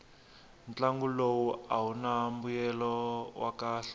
ntlangu lowu awuna mbuyelo wa kahle